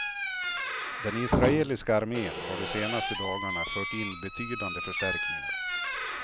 Den israeliska armen har de senaste dagarna fört in betydande förstärkningar.